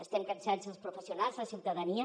estem cansats els professionals la ciutadania